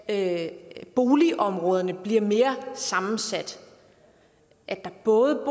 at boligområderne bliver mere sammensat at der både